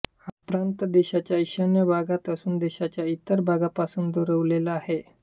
हा प्रांत देशाच्या ईशान्य भागात असून देशाच्या इतर भागापासून दुरावलेला आहे